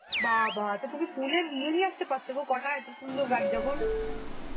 বাবা! তা তুমি ফুলের নিয়ে নিয়ে আসতে পারতেগো কটা এত সুন্দর গাছ যখন.